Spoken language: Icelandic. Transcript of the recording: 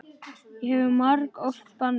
Ég hef margoft bannað þér.